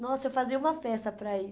Nossa, eu fazia uma festa para ir.